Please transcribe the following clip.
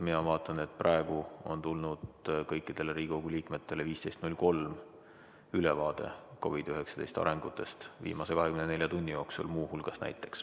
Mina vaatan, et praegu on tulnud kõikidele Riigikogu liikmetele kell 15.03 ülevaade COVID-19 arengutest, muu hulgas viimase 24 tunni jooksul.